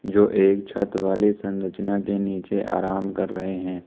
जो एक छत वाले संरचना के नीचे आराम कर रहे हैं।